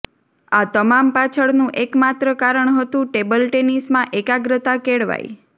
આ તમામ પાછળનું એક માત્ર કારણ હતું ટેબલ ટેનિસમાં એકાગ્રતા કેળવાય